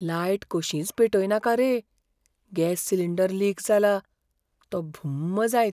Light कशींच पेटयनाका रे, गॅस सिलिंडर लीक जाला, तो भुम्म जायत!